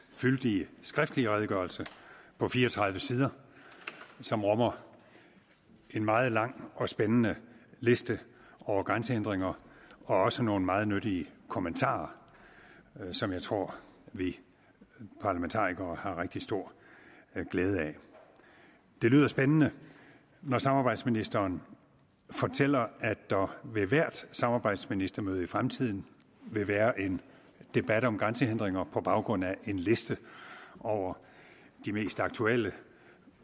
fyldige skriftlige redegørelse på fire og tredive sider som rummer en meget lang og spændende liste over grænsehindringer og også nogle meget nyttige kommentarer som jeg tror vi parlamentarikere har rigtig stor glæde af det lyder spændende når samarbejdsministeren fortæller at der ved hvert samarbejdsministermøde i fremtiden vil være en debat om grænsehindringer på baggrund af en liste over de mest aktuelle